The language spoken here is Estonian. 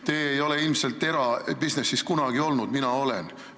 Te ei ole ilmselt erabisnises kunagi olnud, mina olen.